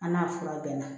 An n'a fura bɛɛ na